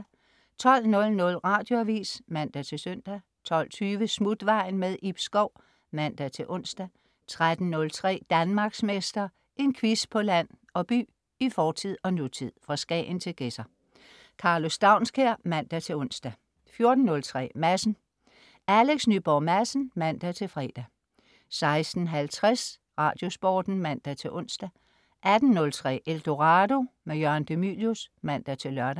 12.00 Radioavis (man-søn) 12.20 Smutvejen. Ib Schou (man-ons) 13.03 Danmarksmester. En quiz på land og by, i fortid og nutid, fra Skagen til Gedser. Karlo Staunskær (man-ons) 14.03 Madsen. Alex Nyborg Madsen (man-fre) 16.50 Radiosporten (man-ons) 18.03 Eldorado. Jørgen de Mylius (man-lør)